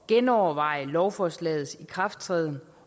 genoverveje lovforslagets ikrafttræden